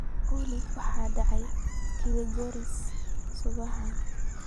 olly waxa ka dhacaya Kilgoris usbuucan